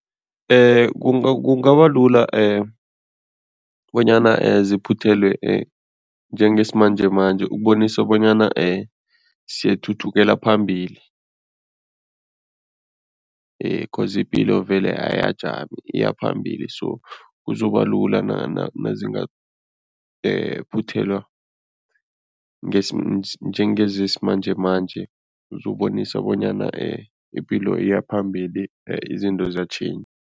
Kungabalula bonyana ziphuthelwe njengesimanjemanje ukubonisana bonyana siyathuthukela phambili coz ipilo vele ayajami, iya phambili so kuzobalula nazinga phuthelwa njengezisimanjemanje kuzobonisa bonyana ipilo iya phambili, izinto